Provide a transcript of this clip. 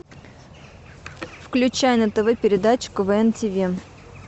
включай на тв передачу квн ти ви